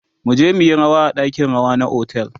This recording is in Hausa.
muje muyi rawa a ɗakin rawa na otel